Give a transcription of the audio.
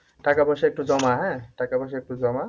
টাকা পয়সা একটু জমা হ্যাঁ টাকা পয়সা একটু জমা